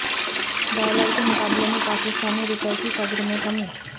dollar کے مقابلے میں پاکستانی روپے کی قدر میں کمی